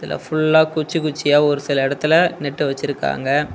ஃபுல்லா குச்சி குச்சியா ஒரு சில எடத்துல நட்டு வச்சிருக்காங்க.